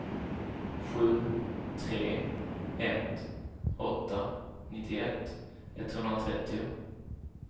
sju tre ett åtta nittioett etthundratrettio